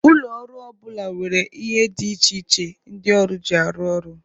Ụlọ ọrụ ọ bụla nwere ihe dị iche iche ndị ọrụ ji arụ ọrụ.